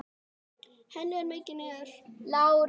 Henni er mikið niðri fyrir.